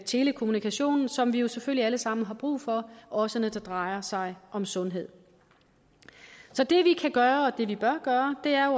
telekommunikationen som vi jo selvfølgelig alle sammen har brug for også når det drejer sig om sundhed så det vi kan gøre og det vi bør gøre er